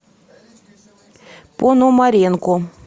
пономаренко